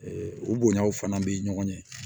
o bonyaw fana bɛ ɲɔgɔn ɲɛ